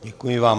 Děkuji vám.